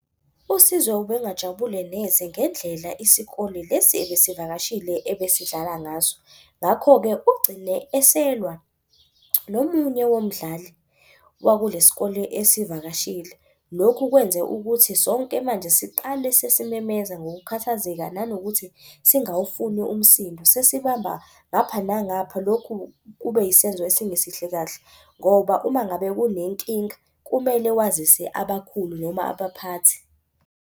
USizwe ubengajabule neze ngendlela isikole lesi ebesivakashile ebesidlala ngaso. Ngakho-ke ugcine eselwa nomunye womdlali wakule sikole esivakashile. Lokhu kwenze ukuthi sonke manje siqale sesimemeza ngokukhathazeka nanokuthi singawufuni umsindo, sesibamba ngapha nangapha. Lokhu kube yisenzo esingesihle kahle ngoba uma ngabe kunenkinga kumele wazise abakhulu noma abaphathi.